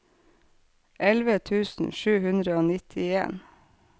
elleve tusen sju hundre og nittien